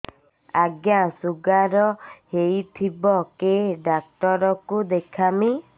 ଆଜ୍ଞା ଶୁଗାର ହେଇଥିବ କେ ଡାକ୍ତର କୁ ଦେଖାମି